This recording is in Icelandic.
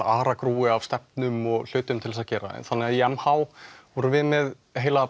aragrúi af stefnum og hlutum til þess að gera þannig að í m h vorum við með heila